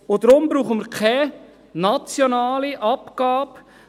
Deshalb brauchen wir keine nationale Abgabe.